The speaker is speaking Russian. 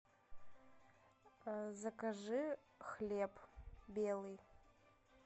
закажи хлеб белый